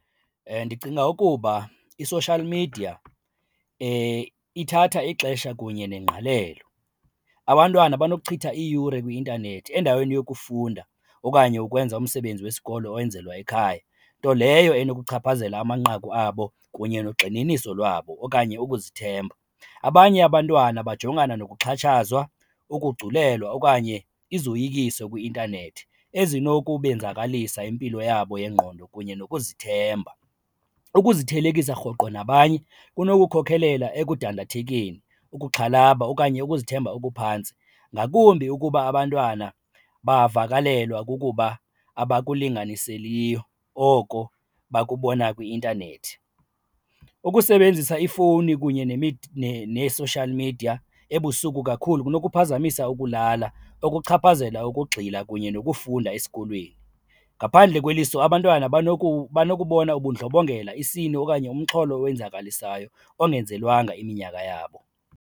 Ndicinga ukuba i-social media ithatha ixesha kunye nengqalelo. Abantwana banokuchitha iiyure kwi-intanethi endaweni yokufunda okanye ukwenza umsebenzi wesikolo owenzelwa ekhaya, nto leyo enokuchaphazela amanqaku abo kunye nogxininiso lwabo okanye ukuzithemba. Abanye abantwana bajongana nokuxhatshazwa, ukugculelwa okanye izoyikiso kwi-intanethi ezinokubenzakalisa impilo yabo yengqondo kunye nokuzithemba. Ukuzithelekisa rhoqo nabanye kunokukhokhelela ekuthandathekeni, ukuxhalaba okanye ukuzithemba okuphantsi ngakumbi ukuba abantwana bavakalelwa kukuba abakulinganiseliyo oko bakubona kwi-intanethi. Ukusebenzisa iifowuni kunye nee-social media ebusuku kakhulu kunokuphazamisa ukulala, kunokuchaphazela ukugxila kunye nokufunda esikolweni. Ngaphandle kweliso abantwana banokubona ubundlobongela, isini okanye umxholo owenzakalisayo engenzelwanga iminyaka yabo.